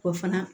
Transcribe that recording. O fana